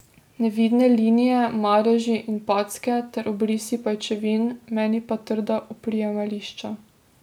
Nevidne linije, madeži in packe ter obrisi pajčevin, meni pa trda oprijemališča.